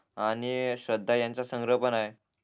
आणि श्रद्धा यांचा संग्रह पण ये